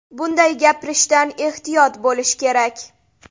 Buni gapirishdan ehtiyot bo‘lish kerak.